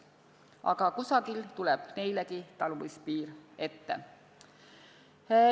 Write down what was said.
Aga kusagil tuleb neile taluvuspiir ette.